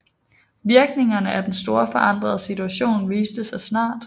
Virkningerne af den forandrede situation viste sig snart